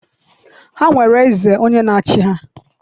Ha nwere eze onye na-achị ha.